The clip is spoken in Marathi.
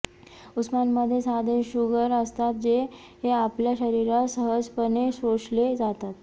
उसामध्ये साधे शुगर असतात जे आपल्या शरीरात सहजपणे शोषले जातात